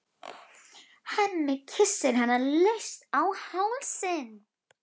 Hemmi kyssir hana laust á hálsinn.